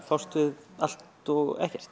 fást við allt og ekkert